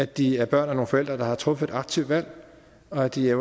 de er børn af nogle forældre der har truffet et aktivt valg og at de er